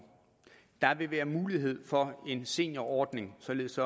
der vil være mulighed for en seniorordning således